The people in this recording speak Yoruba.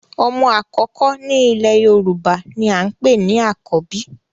Omo akoko ni ile Yoruba ni a npe ni Akobi